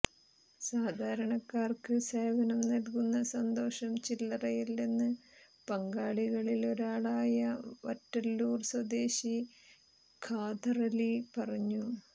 സാധാരണക്കാർക്ക് സേവനം നൽകുന്ന സന്തോഷം ചില്ലറയല്ലെന്ന് പങ്കാളികളിലൊരാളായ വറ്റലൂർ സ്വദേശി ഖാദറലി പറഞ്ഞു